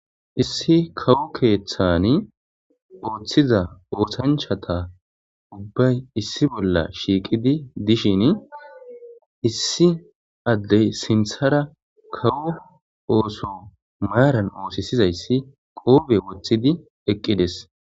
issi kawo keeththani ooththiza ooshanchata ubbay issi bolla shiiqidi dishin issi addey sinthara kawo ooso maaran oosisizayssi qoobe woththidi eqqides.